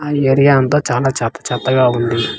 ఆ ఏరియా అంతా చానా చెత్త చెత్త గా ఉంది.